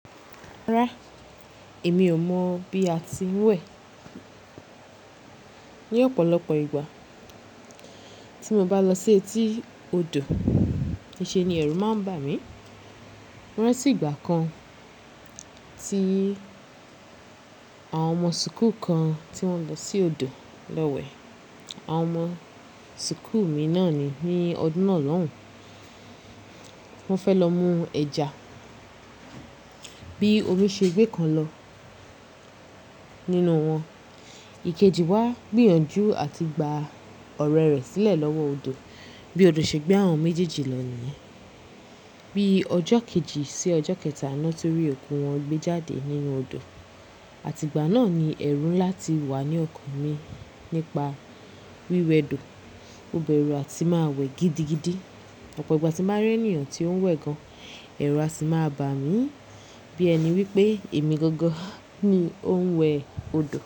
Rárá, èmi ò mọ̀ bí a ti ń wẹ̀. Ni ọ̀pọ̀lọpọ̀ ìgbà tí mo bá lọ sí etí odò, ìṣe ni ẹ̀rù máa ń bà mí. Rántí ìgbà kan tí àwọn ọmọ súkù kan tí wọ́n lọ sí odò lọ wẹ̀. Àwọn ọmọ súkù mi náà ni ní ọdún náà lóhùn. Wọ́n fẹ́ lọ mú ẹja. Bí omi ṣe gbé kan lọ nínú wọn. Ìkejì wá gbìyànjú àti gba ọ̀rẹ́ rẹ̀ sílẹ̀ lọ́wọ́ odò. Bí odò ṣe gbé àwọn méjèèjì lọ níyẹn Bí ọjọ́ kejì sí ọjọ́ kẹta lọ tó rí òkú wọn gbé jáde nínú odò. Àti ìgbà náà ni ẹ̀rù ńlá ti wà ní ọkàn mi nípa wíwẹ do. Mobẹrù àti máa wẹ̀ gidigidi. Ọ̀pọ̀ ìgbà tí n bá rí ènìyàn tí ó ń wẹ̀ gan, ẹ̀rù à sì máa bà mí. Bí ẹni wípé èmi gangan ni ó ń wẹ̀ odò.